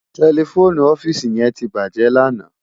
Tèlèfóni òfisi yèn tibájè làná